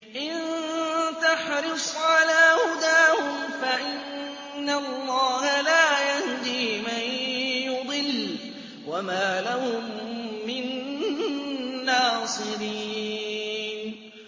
إِن تَحْرِصْ عَلَىٰ هُدَاهُمْ فَإِنَّ اللَّهَ لَا يَهْدِي مَن يُضِلُّ ۖ وَمَا لَهُم مِّن نَّاصِرِينَ